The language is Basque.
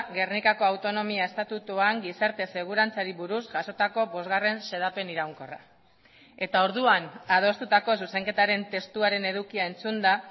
gernikako autonomia estatutuan gizarte segurantzari buruz jasotako bosgarren xedapen iraunkorra eta orduan adostutako zuzenketaren testuaren edukia entzunda